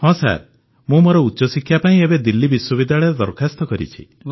ହଁ ସାର୍ ମୁଁ ମୋର ଉଚ୍ଚଶିକ୍ଷା ପାଇଁ ଏବେ ଦିଲ୍ଲୀ ବିଶ୍ୱବିଦ୍ୟାଳୟରେ ଦରଖାସ୍ତ କରିଛି